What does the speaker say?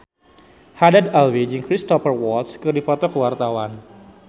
Haddad Alwi jeung Cristhoper Waltz keur dipoto ku wartawan